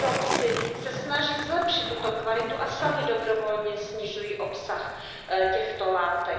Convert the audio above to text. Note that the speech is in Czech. Výrobci se snaží zlepšit tuto kvalitu a sami dobrovolně snižují obsah těchto látek.